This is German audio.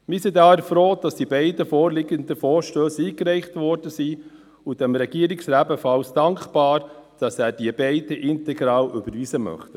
Wir sind daher froh, dass die beiden vorliegenden Vorstösse eingereicht wurden, und der Regierung sind wir ebenfalls dankbar, dass sie beide integral überweisen möchte.